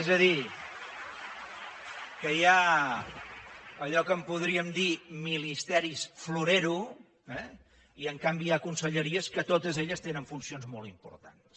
és a dir que hi ha allò que en podríem dir ministeris florero eh i en canvi hi ha conselleries que totes elles tenen funcions molt importants